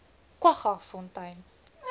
kwaggafontein